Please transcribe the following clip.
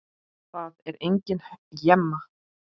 Það er engin hemja.